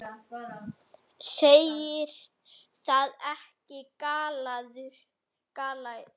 Segir það ekki? galaði Lúlli.